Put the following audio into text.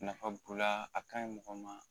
Nafa b'o la a ka ɲi mɔgɔ ma